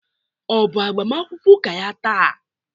Ọ bụ agbamakwụkwọ ụka ya taa?